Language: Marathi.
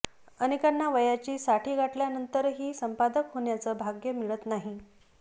अनेकाना वयाची साठी गाठल्यानंतरही संपादक होण्याचं भाग्य मिळत नाही